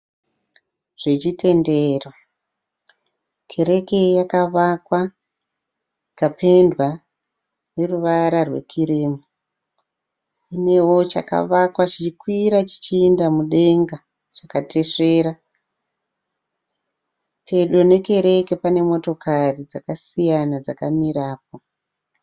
zvechitendero, kereke yakavakwa ikapendwa neruvara rwekirimu inevo chakakwa chichikwira mudenga chakatesvera pedo nekereke pane motokari dzakasiyana dzakamirapo.